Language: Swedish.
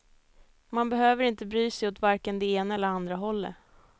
Man behöver inte bry sig åt varken det ena eller andra hållet.